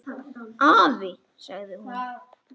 Afi, sagði hún.